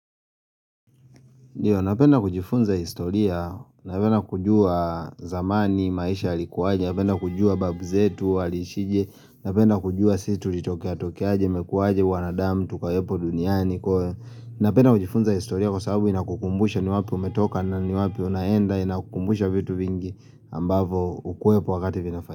Napenda kujifunza historia, napenda kujua zamani, maisha yalikuwaje, napenda kujua babu zetu, waliishije, napenda kujua si tulitokeatokeaje, imekuwaje, wanadamu, tukowepo duniani, napenda kujifunza historia kwa sababu inakukumbusha ni wapi umetoka na ni wapi unaenda, inakukumbusha vitu vingi ambavo hukuepo wakati vinafaa.